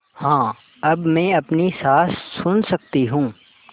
हाँ अब मैं अपनी साँस सुन सकती हूँ